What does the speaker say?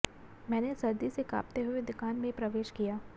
मैंने सर्दी से कांपते हुए दुकान में प्रवेश किया